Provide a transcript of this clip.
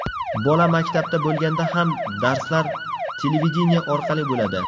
Bola maktabda bo‘lganda ham, darslar televideniye orqali bo‘ladi.